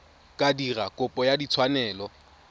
ka dira kopo ya tshwanelo